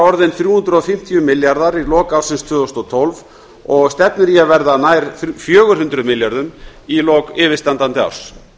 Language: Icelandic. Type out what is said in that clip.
orðinn þrjú hundruð og fimmtíu milljarðar króna í lok ársins tvö þúsund og tólf og stefnir í að verða nær fjögur hundruð milljörðum í lok yfirstandandi árs